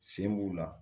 Sen b'u la